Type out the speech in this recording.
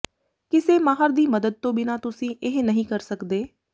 ਕਿਸੇ ਮਾਹਰ ਦੀ ਮਦਦ ਤੋਂ ਬਿਨਾਂ ਤੁਸੀਂ ਇਹ ਨਹੀਂ ਕਰ ਸਕਦੇ